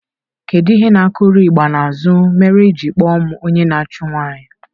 Kedu ihe na-akuru ịgba na azụ mere iji akpọ m onye na-achụ nwanyị?